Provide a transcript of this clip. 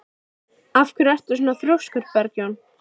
Af hverju ertu svona þrjóskur, Bergjón?